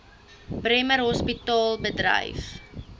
bremer hospitaal bedryf